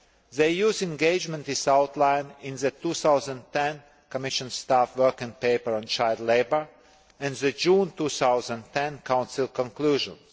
The EU's engagement is outlined in the 2010 Commission staff working paper on child labour and the June 2010 Council conclusions.